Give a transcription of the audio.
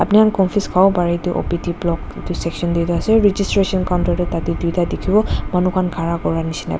abni kan confuse kavo bare etu O_P_D block etu section dae ase registration counter tho tate tuita tikibo manu ka khara kura nishina.